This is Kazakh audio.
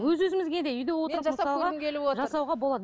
өз өзімізге де үйде отырып